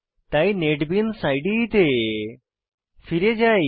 তাই নেটবিনস ইদে তে ফিরে যাই